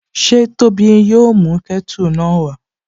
Ṣé Tóbi yóò mú kẹ́tù náà wá?